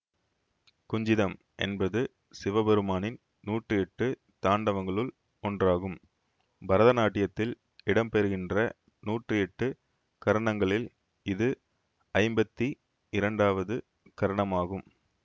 குஞ்சிதம் என்பது சிவபெருமானின் நூற்றியெட்டு தாண்டவங்களுள் ஒன்றாகும் பரதநாட்டியத்தில் இடம்பெறுகின்ற நூற்றியெட்டு கரணங்களில் இது ஐம்பத்தி இரண்டாவது கரணமாகும்